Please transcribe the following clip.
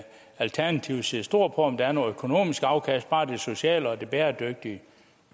alternativet ser stort på om der er noget økonomisk afkast bare det sociale og det bæredygtige